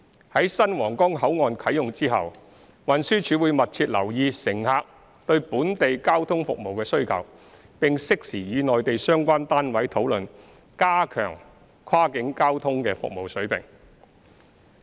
在新皇崗口岸啟用後，運輸署會密切留意乘客對本地交通服務的需求，並適時與內地相關單位討論加強跨境交通的服務水平。